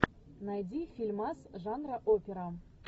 найди фильмас жанра опера